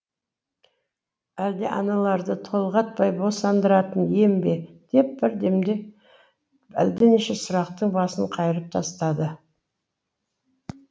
әлде аналарды толғатпай босандыратын ем бе деп бір демде әлденеше сұрақтың басын қайырып тастады